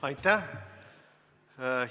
Aitäh!